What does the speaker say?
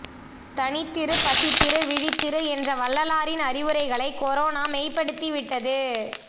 தனித்திரு பசித்திரு விழித்திரு என்ற வள்ளலாரின் அறிவுரைகளை குரோனா மெய்படுத்தி விட்டது